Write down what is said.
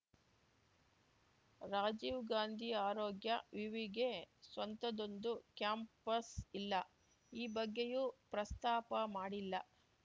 ರಾಜೀವ್ ಗಾಂಧಿ ಆರೋಗ್ಯ ವಿವಿಗೆ ಸ್ವಂತದ್ದೊಂದು ಕ್ಯಾಂಪಸ್‌ ಇಲ್ಲ ಈ ಬಗ್ಗೆಯೂ ಪ್ರಸ್ತಾಪ ಮಾಡಿಲ್ಲ